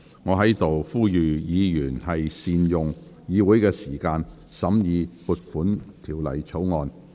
我在此呼籲議員要善用議會時間，審議《條例草案》。